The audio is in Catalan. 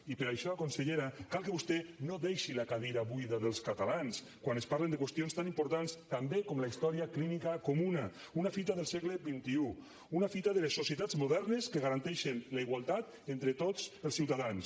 i per a això consellera cal que vostè no deixi la cadira buida dels catalans quan es parlen de qüestions tan importants també com la història clínica comuna una fita del segle xxi una fita de les societats modernes que garanteixen la igualtat entre tots els ciutadans